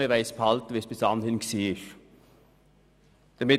Wir wollen das geltende Recht behalten, wie es bis anhin war.